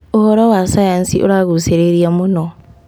ũhoro wa cayanci ũragucĩrĩria mũno.